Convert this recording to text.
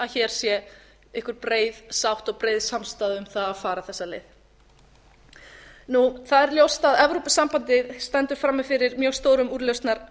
hér sé einhver breið sátt og breið samstaða um það að fara þessa leið þá er ljóst að evrópusambandið stendur frammi fyrir mjög stórum úrlausnarefnum